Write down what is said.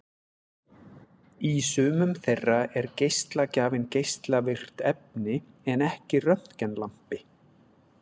Í sumum þeirra er geislagjafinn geislavirkt efni en ekki röntgenlampi.